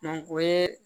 o ye